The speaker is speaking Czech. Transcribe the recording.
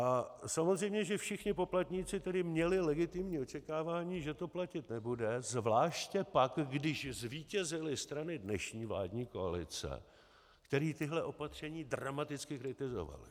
A samozřejmě že všichni poplatníci tedy měli legitimní očekávání, že to platit nebude, zvláště pak když zvítězily strany dnešní vládní koalice, které tahle opatření dramaticky kritizovaly.